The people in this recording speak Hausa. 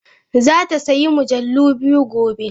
Za ta sayi mujallu biyu gobe.